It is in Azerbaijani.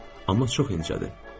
Amma çox incədir.